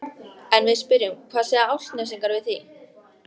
En við spyrjum hvað segja Álftnesingar við því?